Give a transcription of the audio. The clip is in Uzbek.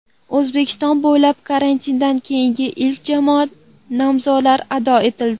O‘zbekiston bo‘ylab karantindan keyingi ilk jamoat namozlari ado etildi .